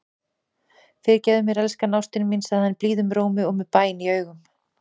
Fyrirgefðu mér, elsku ástin mín, segir hann blíðum rómi og með bæn í augum.